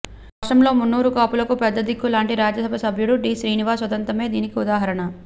రాష్ట్రంలో మున్నూరు కాపులకు పెద్ద దిక్కు లాంటి రాజ్యసభ సభ్యుడు డి శ్రీనివాస్ ఉదంతమే దీనికి ఉదాహరణ